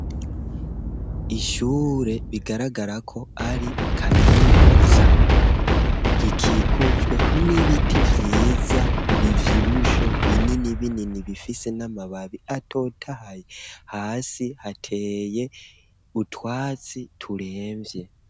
Ishure bigaragara ko ari kaminuza, rikikujwe n'ibiti vyiza bivyibushe binini binini bifise n'amababi atotahaye, hasi hateye utwatsi turemvye.